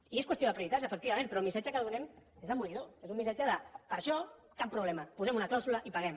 i és qüestió de prioritats efectivament però el missatge que donem és demolidor és un missatge de per això cap problema hi posem una clàusula i paguem